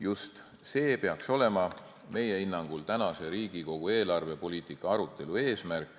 Just see peaks olema meie hinnangul tänase Riigikogu eelarvepoliitika arutelu eesmärk.